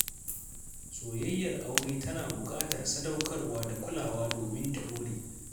Soyayyar aure tana buƙatar sadaukarwa da kulawa domin ta ɗore.